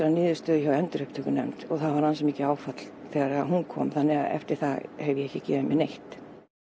niðurstöðu hjá endurupptökunefnd og það var ansi mikið áfall þegar hún kom þannig að eftir það hef ég ekki gefið mér neitt